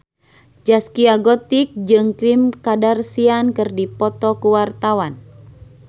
Zaskia Gotik jeung Kim Kardashian keur dipoto ku wartawan